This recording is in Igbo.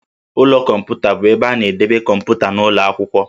Ụlọ kọmputa bụ ebe a na-edebe kọmputa n'ụlọ akwụkwọ